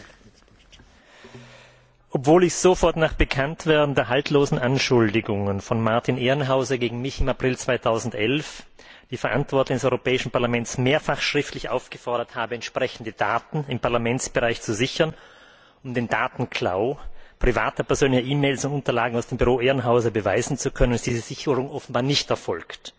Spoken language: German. Herr Präsident! Obwohl ich sofort nach Bekanntwerden der haltlosen Anschuldigungen von Martin Ehrenhauser gegen mich im April 2011 die Verantwortlichen des Europäischen Parlaments mehrfach schriftlich aufgefordert habe, entsprechende Daten im Parlamentsbereich zu sichern, um den Datenklau privater persönlicher E Mailunterlagen aus dem Büro Ehrenhauser beweisen zu können, ist diese Sicherung offenbar nicht erfolgt.